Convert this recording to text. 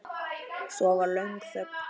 Svo var löng þögn.